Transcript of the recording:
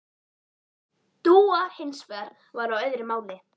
Dúa hins vegar var á öðru máli.